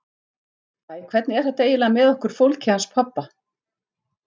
Æ, hvernig er þetta eiginlega með okkur fólkið hans pabba?